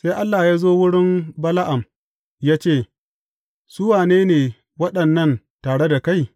Sai Allah ya zo wurin Bala’am ya ce, Su wane ne waɗannan tare da kai?